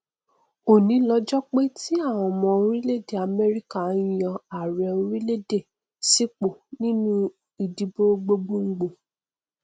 òní lọjọ pé ti àwọn ọmọ orílẹèdè amẹrika nyan ààrẹ orílẹèdè sípò nínú ìdìbò gbogbo gbòò